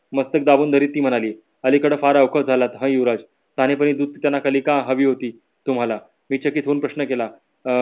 मस्तक दाबून धरत ती म्हणाली अलीकडे फार अवकाश झाला हा युवराज का हवी होती तुम्हाला बेचकीत होऊन प्रश्न केला. अं